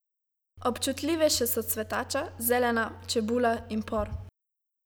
Občutljivejše so cvetača, zelena, čebula in por.